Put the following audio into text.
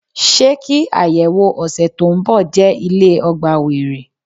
Ṣé kí ayẹwo ọ̀sẹ̀ tó ń bọ̀ jẹ́ ilé ọgbà were?